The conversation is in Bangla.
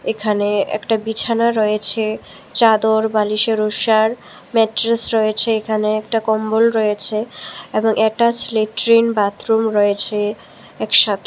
এখানে একটা বিছানা রয়েছে চাদর বালিশের ঊষার ম্যাট্রেস রয়েছে এখানে একটা কম্বল রয়েছে এবং এটাচ লেট্রিন বাথরুম রয়েছে একসাথে।